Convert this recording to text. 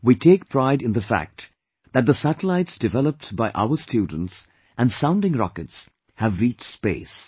We take pride in the fact that the satellites developed by our students and Sounding Rockets have reached space